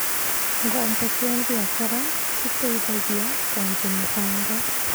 Ngombo cia biashara citeithagia kũanjia mĩbango.